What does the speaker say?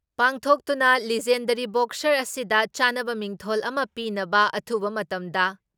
ꯄꯥꯡꯊꯣꯛꯇꯨꯅ legendary boxer ꯑꯁꯤꯗ ꯆꯥꯟꯅꯕ ꯃꯤꯡꯊꯣꯜ ꯑꯃ ꯄꯤꯅꯕ, ꯑꯊꯨꯕ ꯃꯇꯝꯗ